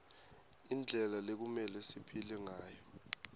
indlela lekumelwe siphile ngayo